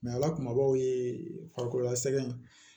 ala kumabaw ye farikolola sɛgɛn